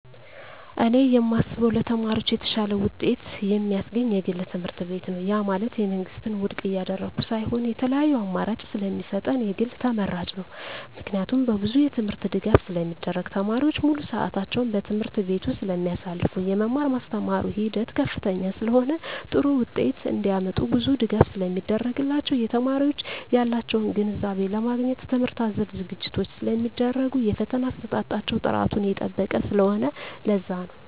እኔ የማስበው ለተማሪዎች የተሻለ ውጤት የማስገኝ የግል ትምህርትቤት ነው ያ ማለት የመንግስትን ውድቅ እያደረኩ ሳይሆን የተለያዪ አማራጭ ስለሚሰጠን የግል ተመራጭ ነው። ምክንያቱም በብዙ የትምህርት ድጋፍ ስለሚደረግ , ተማሪዎች ሙሉ ስዕታቸውን በትምህርት ቤቱ ስለማሳልፋ , የመማር ማስተማር ሂደቱ ከፍተኛ ስለሆነ ጥሩ ውጤት እንዳመጡ ብዙ ድጋፍ ስለሚደረግላቸው , የተማሪዎች ያላቸውን ግንዛቤ ለማግኘት ትምህርት አዘል ዝግጅቶች ስለሚደረጉ የፈተና አሰጣጣቸው ጥራቱን የጠበቀ ስለሆነ ለዛ ነው